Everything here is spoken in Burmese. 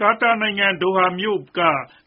ကာတာနိုင်ငံ ဒိုဟာမြို့က